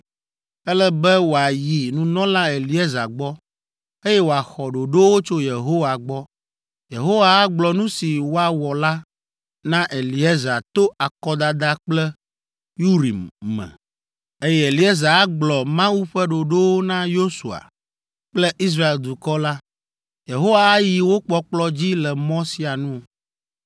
Ele be wòayi nunɔla Eleazar gbɔ, eye wòaxɔ ɖoɖowo tso Yehowa gbɔ. Yehowa agblɔ nu si woawɔ la na Eleazar to akɔdada kple ‘Urim’ me, eye Eleazar agblɔ Mawu ƒe ɖoɖowo na Yosua kple Israel dukɔ la. Yehowa ayi wo kpɔkplɔ dzi le mɔ sia nu.”